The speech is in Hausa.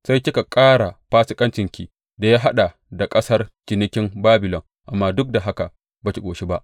Sai kika ƙara fasikancinki da ya haɗa da ƙasar cinikin Babilon, amma duk da haka ba ki ƙoshi ba.